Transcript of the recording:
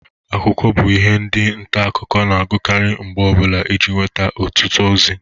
Akwụkwọ bụ ihe ndi nta akụkọ na-agụkari mgbe ọbụla ije nweta ọtụtụ ozi.